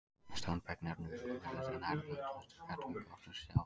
Standberg nefnist lóðréttur eða nær-lóðréttur klettaveggur, oftast við sjó.